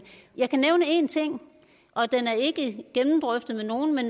jeg kan nævne én ting og den er ikke gennemdrøftet med nogen men